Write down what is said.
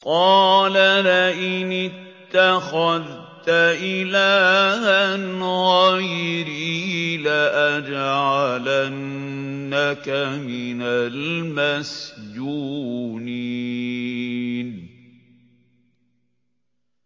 قَالَ لَئِنِ اتَّخَذْتَ إِلَٰهًا غَيْرِي لَأَجْعَلَنَّكَ مِنَ الْمَسْجُونِينَ